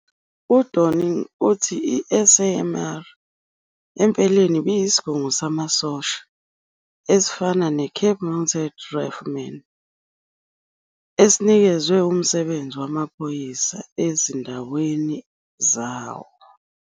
UDorning uthi 'i-SAMR empeleni ibiyisigungu samasosha esifana neCape Mounted Riflemen, esinikezwe umsebenzi wamaphoyisa ezindaweni zawo.'